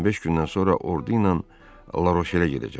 15 gündən sonra ordu ilə Laşelə gedəcəm.